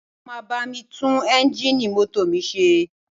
Wọ́n máa bá mi tún eńjíìnì mọ́tò mi ṣe